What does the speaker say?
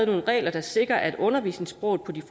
nogle regler der sikrer at undervisningssproget på de